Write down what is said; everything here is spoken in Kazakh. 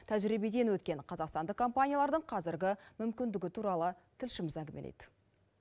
тәжірибеден өткен қазақстандық компаниялардың қазіргі мүмкіндігі туралы тілшіміз әңгімелейді